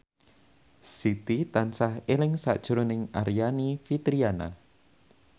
Siti tansah eling sakjroning Aryani Fitriana